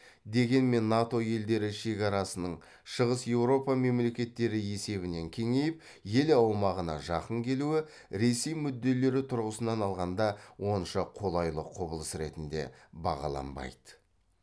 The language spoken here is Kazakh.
дегенмен нато елдері шекарасының шығыс еуропа мемлекеттері есебінен кеңейіп ел аумағына жақын келуі ресей мүдделері тұрғысынан алғанда онша қолайлы құбылыс ретінде бағаланбайды